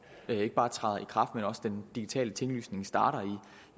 ikke bare træder i kraft men også den digitale tinglysning starter